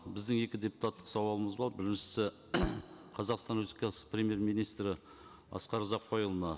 біздің екі депутаттық сауалымыз біріншісі қазақстан республикасы премьер министрі асқар ұзақбайұлына